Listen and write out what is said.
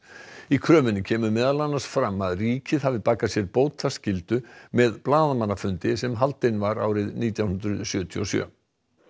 í kröfunni kemur meðal annars fram að ríkið hafi bakað sér bótaskyldu með blaðamannafundi sem haldinn var árið nítján hundruð sjötíu og sjö